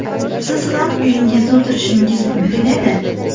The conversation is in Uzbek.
Siz ham uyingizda o‘tirishingiz mumkin edi.